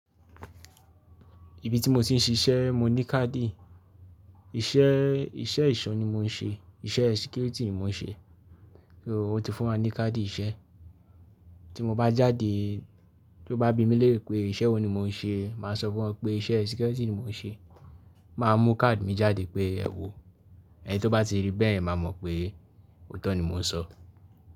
Ibi tí mo ti ń ṣiṣẹ́ mo ní káàdì. Iṣẹ́ eṣọ́ ni mò ń ṣe, iṣẹ́ security ni mò ń ṣe. Wo ti fún wa ní káàdì iṣẹ́. Tí mo bá jáde, tó bá bi mí lẹ́rẹ́ pe iṣẹ́ wo ni mò ń ṣe, màá sọ fún wọn pé iṣẹ́ security ni mò ń ṣe. Màá mú káàdì mi jáde pé ẹ wò. Ẹni tí ó bá ti rí bẹ́ yẹ̀ máa mọ̀ pé òótọ́ ni mò ń sọ.